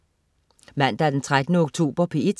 Mandag den 13. oktober - P1: